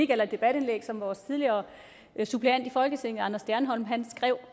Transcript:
eller et debatindlæg som vores tidligere suppleant i folketinget anders stjernholm skrev